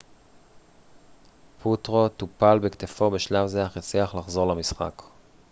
פוטרו טופל בכתפו בשלב זה אך הצליח לחזור למשחק